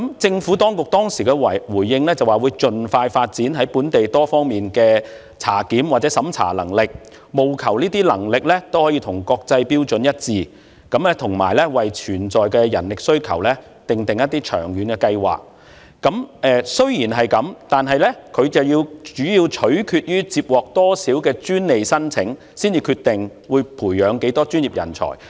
政府當局當時的回應是，會盡快發展本地在多方面科技的檢查及審查能力，務求符合國際標準，以及為潛在人力需求訂立一些長遠計劃，但政府會視乎接獲多少專利申請，才決定會培養多少專業人才。